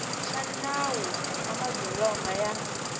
xa nawu wa madzolonga ya